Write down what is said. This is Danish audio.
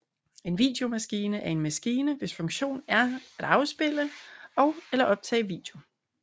En videomaskine er en maskine hvis funktion er at afspille og eller optage video